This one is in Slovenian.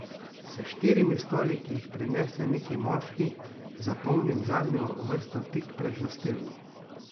S štirimi stoli, ki jih prinese neki moški, zapolnim zadnjo vrsto, tik pred gostilno.